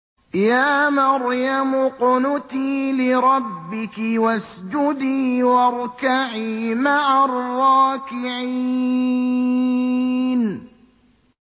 يَا مَرْيَمُ اقْنُتِي لِرَبِّكِ وَاسْجُدِي وَارْكَعِي مَعَ الرَّاكِعِينَ